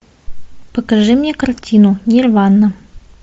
покажи мне картину нирвана